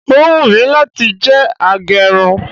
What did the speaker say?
o wùnmi lati jẹ agerun